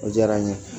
O diyara n ye